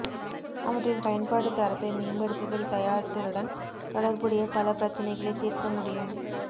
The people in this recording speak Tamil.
அவற்றின் பயன்பாடு தரத்தை மேம்படுத்துதல் தயாரித்தலுடன் தொடர்புடைய பல பிரச்சினைகளை தீர்க்க முடியும்